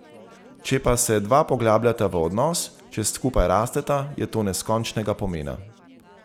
Če pa se dva poglabljata v odnos, če skupaj rasteta, je to neskončnega pomena.